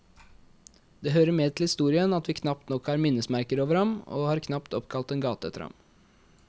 Det hører med til historien at vi knapt nok har minnesmerker over ham, og har knapt oppkalt en gate etter ham.